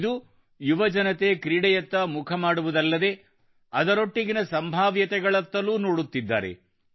ಇಂದು ಯುವಜನತೆ ಕ್ರೀಡೆಯತ್ತ ಮುಖಮಾಡುವುದಲ್ಲದೆ ಅದರೊಟ್ಟಿಗಿರುವ ಸಂಭಾವ್ಯತೆಗಳತ್ತಲೂ ನೋಡುತ್ತಿದ್ದಾರೆ